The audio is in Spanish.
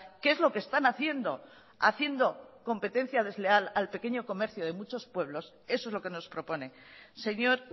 que es lo que están haciendo haciendo competencia desleal al pequeño comercio de muchos pueblos eso es lo que nos propone señor